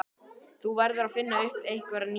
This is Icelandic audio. Þú verður að finna upp á einhverju nýju.